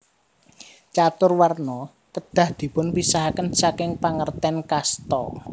Catur Warna kedah dipunpisahaken saking pangerten kasta